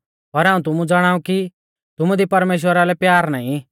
पर हाऊं तुमु ज़ाणाऊ कि तुमु दी परमेश्‍वरा लै प्यार नाईं